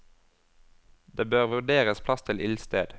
Det bør vurderes plass til ildsted.